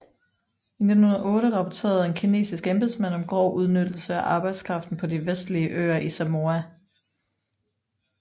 I 1908 rapporterede en kinesisk embedsmand om grov udnyttelse af arbejdskraften på de vestlige øer i Samoa